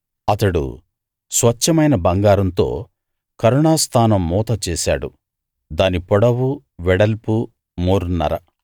అతడు స్వచ్ఛమైన బంగారంతో కరుణా స్థానం మూత చేశాడు దాని పొడవు వెడల్పు మూరన్నర